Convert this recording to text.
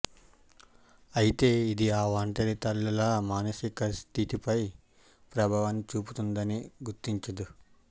అయితే ఇది ఆ ఒంటరి తల్లుల మానసికస్థితిపై ప్రభావాన్ని చూపుతుందని గుర్తించదు